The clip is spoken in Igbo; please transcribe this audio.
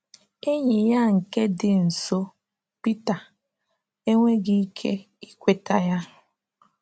Enyi ya nke dị nso, Pita, enweghị ike ikweta ya.